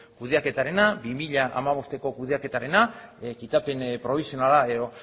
kudeaketarena bi mila hamabosteko kudeaketarena kitapen probisionala edo